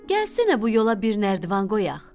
Gəlsənə bu yola bir nərdiban qoyaq.